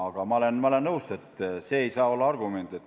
Aga ma olen nõus, et see ei saa olla argument.